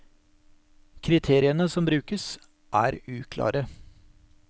Kriteriene som brukes, er uklare.